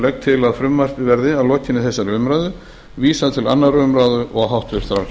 legg til að frumvarpið verði að lokinni þessari umræðu vísað til annarrar umræðu og háttvirtrar